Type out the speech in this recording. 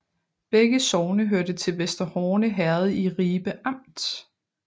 Begge sogne hørte til Vester Horne Herred i Ribe Amt